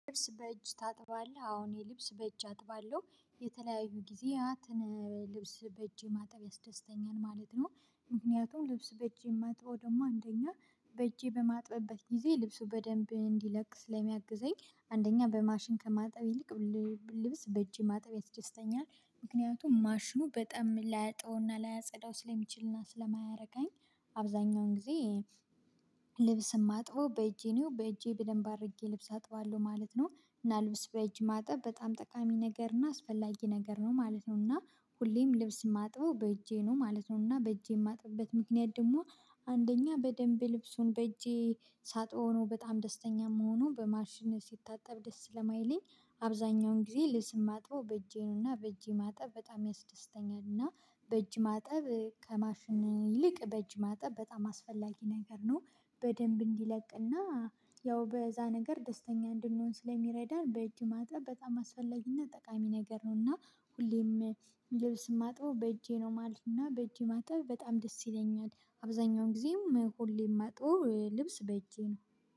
ልብስ በእጅ ታጥባለህ አዎ እኔ ልብስ በእጄ አጥባለሁ። የተለያዩ ጊዜያትን ልብስ በእጅ ማጠብ ያስደስተኛል ማለት ነው። ምክንያቱም ልብስ በእጄ የማጥበው ደግሞ አንደኛ በእጄ በማጥብበት ጊዜ ልብሱ በደንብ እንዲለቅ ስለሚያግዘኝ አንደኛ በማሽን ከማጠብ ይልቅ ሁሌ ልብስ በእጄ ማጠብ ያስደስተኛል። ምክንያቱም ማሽኑ በጣም ላያጥበውና ላያጸዳው ስለሚችልና ስለማያረካኝ አብዛኛውን ጊዜ ልብስ የማጥበው በእጄ ነው። በእጄ በደንብ አድርጌ ልብስ አጥበዋለሁ ማለት ነው። እና ልብስ በእጅ ማጠብ በጣም ጠቃሚ ነገር እና አስፈላጊ ነገር ነው ማለት ነው። እና ሁሌም ልብስ የማጥበው በእጄ ነው ማለት ነው። እና በእጄ የማጥብበት ምክንያት ደግሞ አንደኛ በደንብ ልብሱን በእጄ ሳጥበው ነው በጣም ደስተኛ የምሆነው በማሽን ሲታጠብ ደስ ስለማይለኝ አብዛኛውን ጊዜ ልብስ የማጥበው በእጄ ነውና በእጄ ማጠብ በጣም ያስደስተኛልና በእጅ ማጠብ ከማሽን ይልቅ በእጅ ማጠብ በጣም አስፈላጊ ነገር ነው። በደንብ እንዲለቅና ያው በዛ ነገር ደስተኛ እንድንሆን ስለሚረዳን በእጅ ማጠብ በጣም አስፈላጊና ጠቃሚ ነገር ነውና ሁሌም ልብስ የማጥበው በእጄ ነው ማለትና በእጅ ማጠብ በጣም ደስ ይለኛል። አብዛኛውን ጊዜው ሁሌም የማጥበው ልብስ በእጄ ነው።